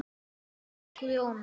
Þá hvæsti Grjóni: